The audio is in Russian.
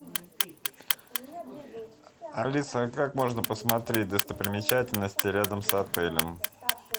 алиса а как можно посмотреть достопримечательности рядом с отелем